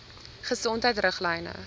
gesondheidriglyne